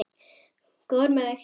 Góður með þig.